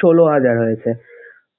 ষোল হাজার হয়েছে